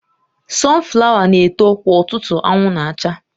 Sunflower na-eto kwa ụtụtụ anwụ na-acha